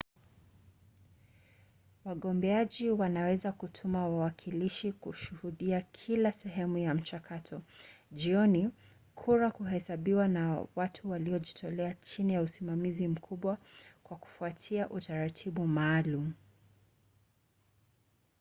wagombeaji wanaweza kutuma wawakilishi kushuhudia kila sehemu ya mchakato. jioni kura huhesabiwa na watu waliojitolea chini ya usimamizi mkubwa kwa kufuata utaratibu maalum